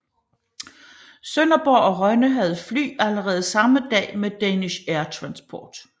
Sønderborg og Rønne havde fly allerede samme dag med Danish Air Transport